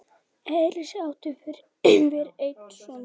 Elísa átti fyrir einn son.